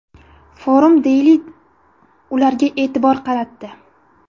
Forum Daily ularga e’tibor qaratdi .